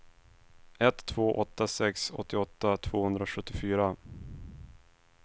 ett två åtta sex åttioåtta tvåhundrasjuttiofyra